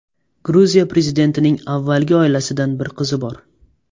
Gruziya prezidentining avvalgi oilasidan bir qizi bor.